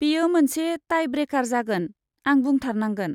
बेयो मोनसे टाइ ब्रेकार जागोन, आं बुंथारनांगोन।